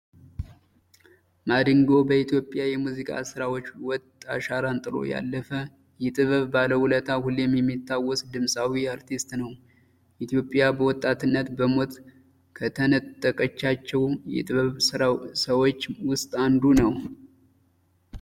ማዲንጎ በኢትዮጵያ የሙዚቃ ስራዎች ውጥ አሻራን ጥሎ ያለፈ፣ የጥበብ ባለውለታ ፣ሁሌም የሚታወስ ድምፃዊ አርቲስት ነው። ኢትዮጵያ በወጣትነት በሞት ከተነጠቀቻቸው የጥበብ ሰዎች ውስጥ አንዱ ነው።